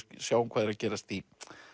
sjáum hvað er að gerast í